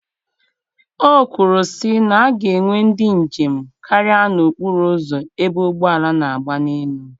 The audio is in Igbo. O kwuru sị na a ga-enwe ndị njem karịa n'okpuru ụzọ ebe ụgbọala na-agba n'elu.